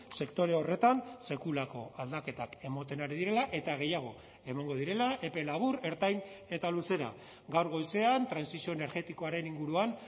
sektore horretan sekulako aldaketak ematen ari direla eta gehiago emango direla epe labur ertain eta luzera gaur goizean trantsizio energetikoaren inguruan